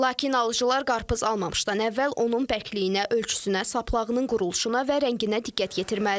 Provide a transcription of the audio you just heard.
Lakin alıcılar qarpız almamışdan əvvəl onun bərkliyinə, ölçüsünə, saplağının quruluşuna və rənginə diqqət yetirməlidir.